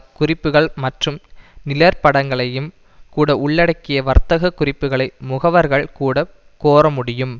குறிப்புக்கள் மற்றும் நிழற்படங்களையும் கூட உள்ளடக்கிய வர்த்தக குறிப்புக்களை முகவர்கள் கூட கோரமுடியும்